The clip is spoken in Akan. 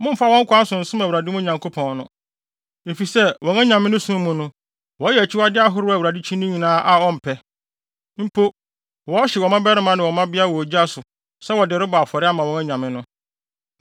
Mommfa wɔn kwan so nsom Awurade, mo Nyankopɔn no, efisɛ wɔn anyame no som mu no, wɔyɛ akyiwade ahorow a Awurade kyi no nyinaa mpɛ. Mpo, wɔhyew wɔn mmabarima ne wɔn mmabea wɔ ogya sɛ wɔde rebɔ afɔre ama wɔn anyame no.